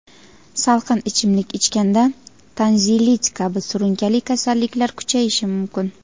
salqin ichimlik ichganda tonzillit kabi surunkali kasalliklar kuchayishi mumkin.